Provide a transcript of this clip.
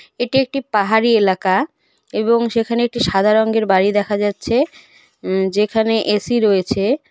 এটি একটি পাহাড়ি এলাকা এবং সেখানে একটি সাদা রঙ্গের বাড়ি দেখা যাচ্ছে উম যেখানে এ_সি রয়েছে.